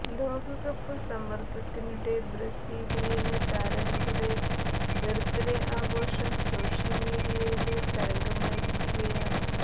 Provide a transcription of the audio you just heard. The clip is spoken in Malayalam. ലോകകപ്പ് സമ്മര്ദ്ദത്തിനിടെ ബ്രസീലിയന് താരങ്ങളുടെ ബെര്ത്ത്േേഡ ആഘോഷം സോഷ്യല് മീഡിയയില് തരംഗമായിരിക്കുകയാണ്